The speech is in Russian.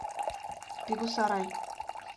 бегусарай